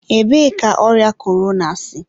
ebee ka ọrịa korona si?